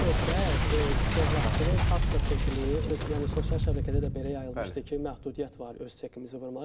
Burada söhbət istehlakçının kassa çekini öz, yəni sosial şəbəkədə də belə yayılmışdı ki, məhdudiyyət var öz çekimizi vurmağa.